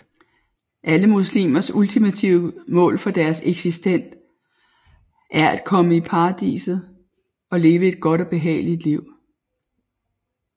Alle muslimers ultimative mål for deres eksistens er at komme i paradiset og leve et godt og behageligt liv